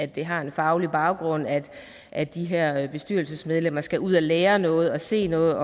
det har en faglig baggrund at at de her bestyrelsesmedlemmer skal ud at lære noget og se noget